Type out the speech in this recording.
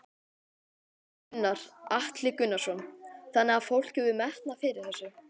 Gunnar Atli Gunnarsson: Þannig að fólk hefur metnað fyrir þessu?